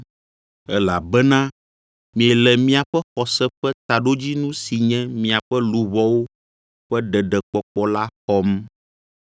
elabena miele miaƒe xɔse ƒe taɖodzinu si nye miaƒe luʋɔwo ƒe ɖeɖekpɔkpɔ la xɔm.